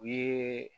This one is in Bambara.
U ye